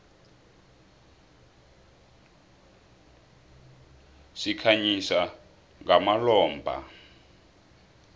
sikhanyisa ngamalombha